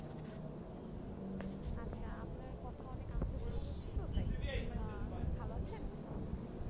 আচ্ছা আপনার কথা অনেক আস্তে শুনা যাচ্ছে তো তাই আহ ভালো আছেন?